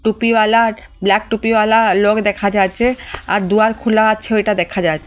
টুপিওয়ালা আর ব্ল্যাক টুপিওয়ালা লোক দেখা যাচ্চে আর দুয়ার খুলা আছে ওইটা দেখা যায়।